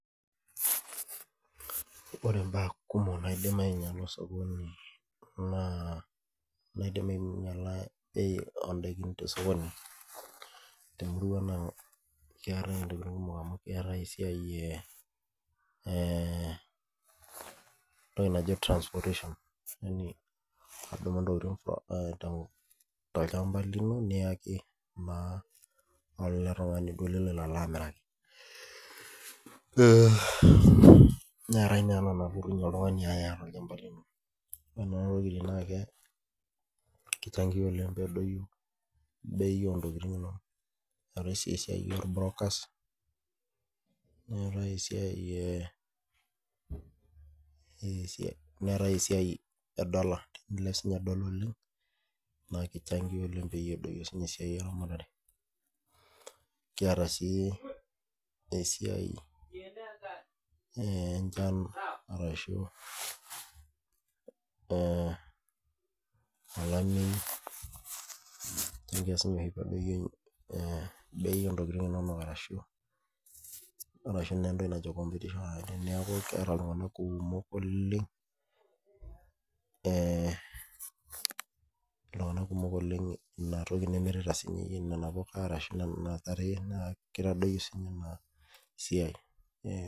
Ore mbaa kumok naidim ainyiala endakii tee sokoni naa kiar entokitin kumok amu ore esiai entoki naaji transportation yaani edumu ntokitin too olchamba lino niyaki naa ele tung'ani liloito amiraki neetae naa ena nalotu oltung'ani adumu tolchamba lino ore Nena tokitin naa kichangia oleng pee edoyio bei oo ntokitin enono keetae sii esiai oo Brookers neetae esiai edollar kilep sininye dollar oleng naa kichangia pee edoyio sininye esiai eramatare kiata sii esiai enchan arashu olamei naa keitadoyio sininye bei oo ntokitin enono arashu entoki najii competition neeku keeta iltung'ana kumok oleng ena toki nimirita siiyie nena puka ashu nena tare keitadoyio sininye ena siai